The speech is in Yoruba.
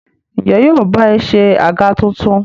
Ǹjẹ́ yóò ba ẹ se àga tuntun?